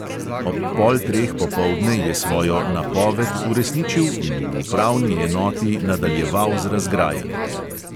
Ob pol treh popoldne je svojo "napoved" uresničil in v upravni enoti nadaljeval z razgrajanjem.